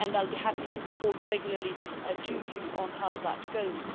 I will be happy to report regularly to you on how that goes.